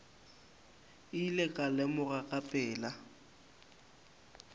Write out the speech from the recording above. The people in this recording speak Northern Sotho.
ile ka lemoga ka pela